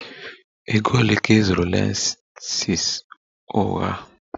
Ego ole ka ị zụrụ lashes ụgha?